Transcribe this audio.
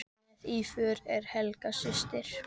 Með í för er Helga systir